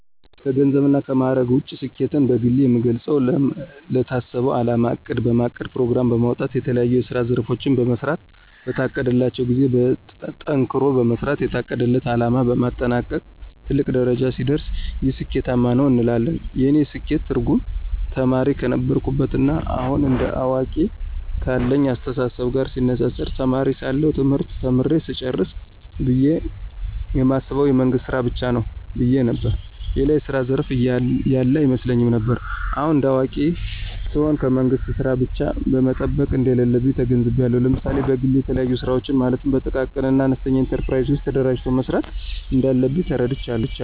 ከገንዘብ እና ከማዕረግ ውጭ ስኬትን በግሌ የምገልጸው ለታሰበው አላማ እቅድ በማቀድ ፕሮግራም በማውጣት የተለያዬ የስራ ዘርፎችን በመሥራት በታቀደላቸው ጊዜ ጠንክሮ በመስራት የታቀደለት አለማ በማጠናቀቅ ትልቅ ደረጃ ሲደርስ ይህ ስኬታማ ነው እንላለን። የእኔ ስኬት ትርጉም ተማሪ ከነበርኩበት ና አሁን እንደ አዋቂ ካለኝ አስተሳሰብ ጋር ሲነፃፀር ተማሪ ሳለሁ ትምህርት ተምሬ ስጨርስ ብየ የማስበው የመንግስት ስራ ብቻ ነው ብየ ነበር። ሌላ የስራ ዘርፍ ያለ አይመስለኝም ነበር። አሁን እንደ አዋቂ ስሆን ከመንግስት ስራ ብቻ መጠበቅ እንደሌለብኝ ተገንዝቤአለሁ። ለምሳሌ በግሌ የተለያዩ ስራወችን ማለትም በጥቃቅንና አነስተኛ ኢንተርፕራይዞች ተደራጅቶ መስራት እንዳለብኝ ተረድቻለሁ።